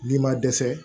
N'i ma dɛsɛ